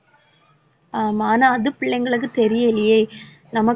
ஆமா ஆனா அது பிள்ளைங்களுக்கு தெரியலயே நமக்கு